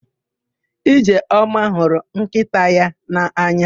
Ijeọma hụrụ nkịta ya n'anya.